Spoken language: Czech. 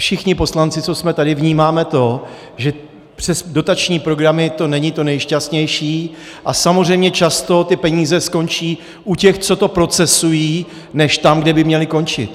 Všichni poslanci, co jsme tady, vnímáme to, že přes dotační programy to není to nejšťastnější a samozřejmě často ty peníze skončí u těch, co to procesují, než tam, kde by měly končit.